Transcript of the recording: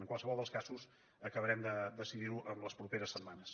en qualsevol dels casos acabarem de decidir ho les properes setmanes